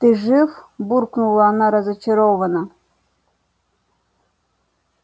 ты жив буркнула она разочарованно